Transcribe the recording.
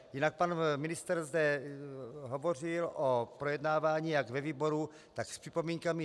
Jinak pan ministr zde hovořil o projednávání jak ve výboru, tak s připomínkami.